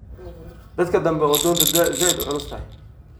Dankan dambe oo doonta zaid uuculustaxay.